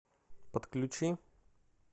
подключи